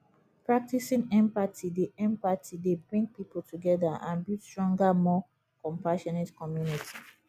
practicing empathy dey empathy dey bring people together and build stronger more compassionate community